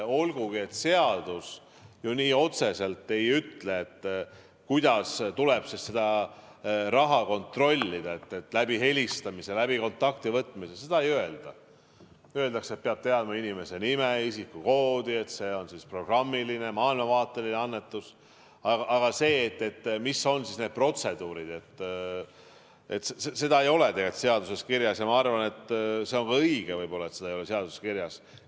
Olgugi et seadus ju nii otseselt ei ütle, kuidas tuleb seda raha kontrollida, kas helistades, kontakti võttes, seda ei öelda, vaid öeldakse, et peab teadma inimese nime, isikukoodi ja et see on programmiline, maailmavaateline annetus, aga mis on need protseduurid, seda ei ole tegelikult seaduses kirjas, ja ma arvan, et see on ka õige võib-olla, et seda ei ole seaduses kirjas.